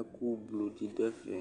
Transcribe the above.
ɛku blɔ di du ɛfɛ